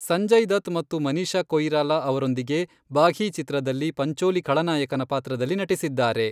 ಸಂಜಯ್ ದತ್ ಮತ್ತು ಮನೀಷಾ ಕೊಯಿರಾಲಾ ಅವರೊಂದಿಗೆ ಬಾಘೀ ಚಿತ್ರದಲ್ಲಿ ಪಂಚೋಲಿ ಖಳನಾಯಕನ ಪಾತ್ರದಲ್ಲಿ ನಟಿಸಿದ್ದಾರೆ.